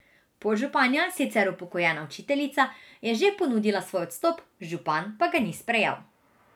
Podžupanja, sicer upokojena učiteljica, je že ponudila svoj odstop, župan pa ga ni sprejel.